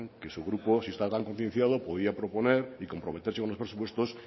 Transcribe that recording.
que su grupo si está tan concienciado podría proponer y comprometerse con los presupuestos